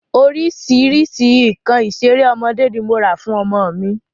Orísìírísìí nǹkan ìṣeré ọmọdé ni mo rà fún ọmọ mi